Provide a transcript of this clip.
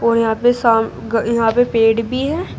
और यहां पे शाम क यहां पे पेड़ भी है।